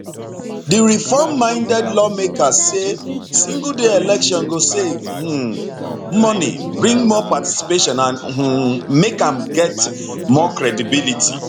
di reform minded lawmakers say single day election go save um money bring more participation and um make am get more credibility